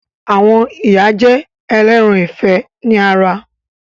Àwọn ìyá jẹ́ ẹlẹ́ran ìfẹ́ ni ara